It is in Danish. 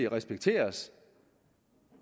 respekteres